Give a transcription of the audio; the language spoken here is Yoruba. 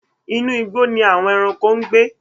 Inu igbó ni àwon ẹranko gbe.